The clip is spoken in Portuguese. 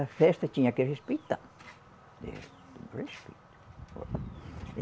Festa, tinha que respeitar. É